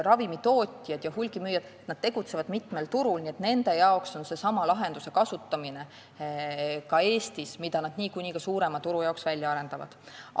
Ravimitootjad ja hulgimüüjad tegutsevad mitmel turul, nii et nad kasutavad ka Eestis sedasama lahendust, mille nad niikuinii suurema turu jaoks välja arendavad.